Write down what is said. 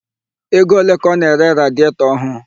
Ego ole ka ọ na-ere radietọ ọhụụ?